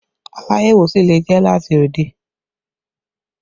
Aláyẹ̀wò sì lè jẹ́ láti òde